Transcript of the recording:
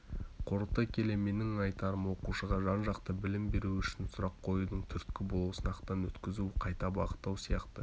қорыта келе менің айтарым оқушыға жан-жақты білім беру үшін сұрақ қоюдың түрткі болу сынақтан өткізу қайта бағыттау сияқты